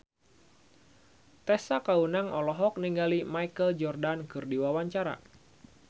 Tessa Kaunang olohok ningali Michael Jordan keur diwawancara